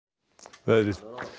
veðri